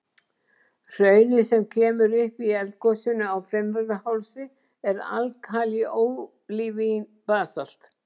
Hraunið sem kemur upp í eldgosinu á Fimmvörðuhálsi er alkalí-ólivín-basalt.